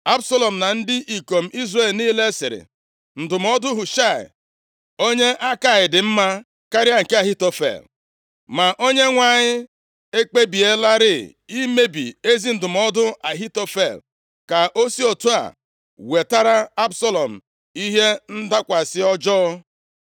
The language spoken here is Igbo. Absalọm na ndị ikom Izrel niile sịrị, “Ndụmọdụ Hushaị, onye Akai dị mma karịa nke Ahitofel.” Ma Onyenwe anyị ekpebielarị imebi ezi ndụmọdụ Ahitofel ka o si otu a wetara Absalọm ihe ndakwasị ọjọọ.